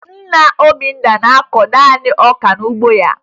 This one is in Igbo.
Nna Obinna ga-akụ naanị ọka n'ugbo ha